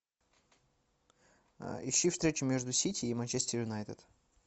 ищи встречу между сити и манчестер юнайтед